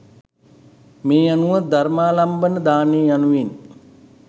මේ අනුව ධර්මාලම්බන දානය යනුවෙන්